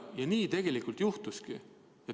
Ja nii tegelikult juhtuski.